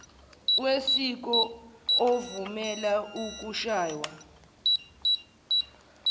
wesiko ovumela ukushaywa